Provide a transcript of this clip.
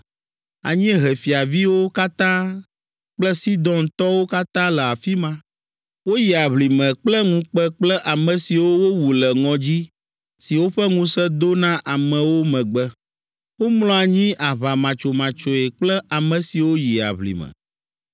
“Anyiehe fiaviwo katã kple Sidontɔwo katã le afi ma. Woyi aʋlime kple ŋukpe kple ame siwo wowu le ŋɔdzi si woƒe ŋusẽ do na amewo megbe. Womlɔ anyi aʋamatsomatsoe kple ame siwo yi aʋlime.